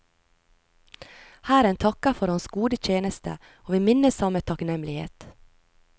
Hæren takker for hans gode tjeneste, og vi minnes ham med takknemlighet.